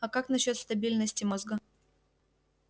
а как насчёт стабильности мозга